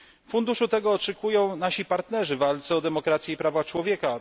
Funduszu tego oczekują nasi partnerzy w walce o demokrację i prawa człowieka.